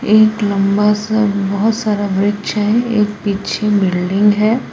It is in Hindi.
एक लंबा सा बहोत सारा वृक्ष है एक पीछे बिल्डिंग है।